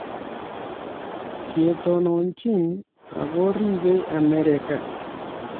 Ketononjin ago riibei Amerika."